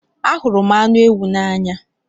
Anhuru m anu ewu n'anya